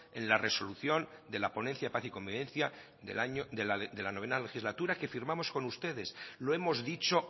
en la resolución de la ponencia paz y convivencia de la novena legislatura que firmamos con ustedes lo hemos dicho